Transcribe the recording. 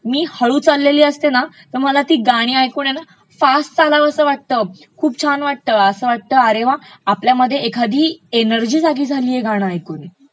मी हळु चाललेली असते ना तर मला ती गाणी ऐकून आहे ना फास्ट चालावसं वाटतं, खूप छान वाटतं असं वाटत अरे वा आपल्यामध्ये एखादी एनर्जी जागी झालिय हे गाणं ऐकून.